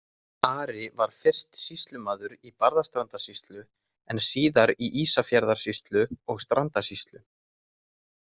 Ari var fyrst sýslumaður í Barðastrandarsýslu, en síðar í Ísafjarðarsýslu og Strandasýslu.